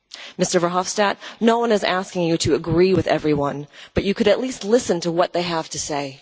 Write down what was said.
Mr Verhofstadt, no one is asking you to agree with everyone, but you could at least listen to what they have to say.